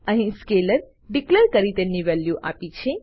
અહી scalar declare કરી તેને વેલ્યુ આપી છે